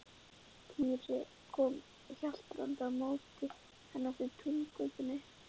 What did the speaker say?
Týri kom haltrandi á móti henni eftir túngötunni.